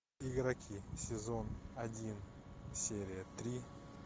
игроки сезон один серия три